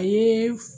A ye